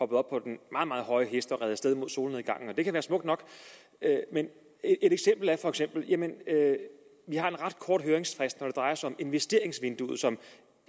på den meget meget høje hest og red af sted mod solnedgangen selv om det kan være smukt nok et eksempel er at vi har en ret kort høringsfrist når det drejer sig om investeringsvinduet som